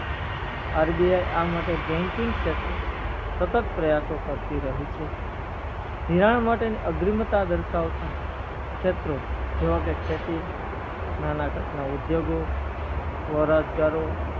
RBIi આ માટે banking શેત્રે સતત પ્રયાસો કરતી રહી છે ધિરાણ માટે અગ્રીન્નતા દર્શાવતા શેત્રો જેવા કે ખેતી નાણા ના ઉદ્યોગો સ્વરોજ્ગારો